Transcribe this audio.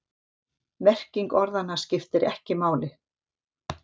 Merking orðanna skiptir ekki máli.